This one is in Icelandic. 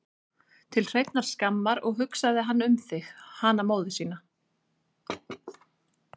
Til hreinnar skammar, og hugsaði hann um þig, hana móður sína?